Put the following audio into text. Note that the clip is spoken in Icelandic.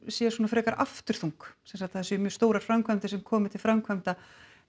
sé frekar afturþung sem sagt að það séu mjög stórar framkvæmdir sem komi til framkvæmda